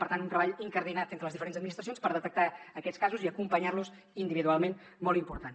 per tant un treball incardinat entre les diferents administracions per detectar aquests casos i acompanyar los individualment molt important